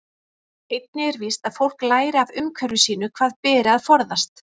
Einnig er víst að fólk lærir af umhverfi sínu hvað beri að forðast.